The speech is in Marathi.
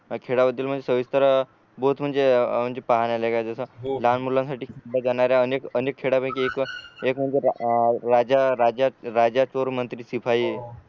खेळामधील सविस्तर बहोत म्हणजे म्हणजे पाहण्या लाईक आहे जस लहान मुलांसाठी खेळल्या जाणाऱ्या अनेक अनेक खेळां पैकी एक एक म्हणजे राजा राजा चोर मंत्री सिपाही